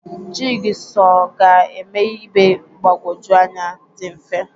Jig sọ ga-eme ibe mgbagwoju anya dị mfe.